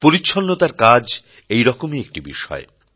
পরিচ্ছন্নতার কাজ এই রকমই একটি বিষয়